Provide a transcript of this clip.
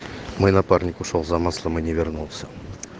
мой напарник ушёл за маслом и не вернулся